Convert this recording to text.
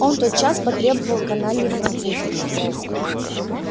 он тот час потребовал каналью француза